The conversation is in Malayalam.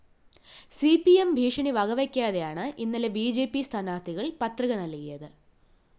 സി പി എം ഭീഷണി വകവെയ്ക്കാതെയാണ് ഇന്നലെ ബി ജെ പി സ്ഥാനാര്‍ത്ഥികള്‍ പത്രിക നല്‍കിയത്